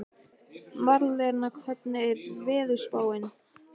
Marlena, hvernig er veðurspáin?